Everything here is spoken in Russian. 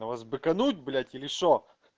на вас быкануть блять или что